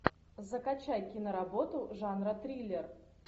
закачай киноработу жанра триллер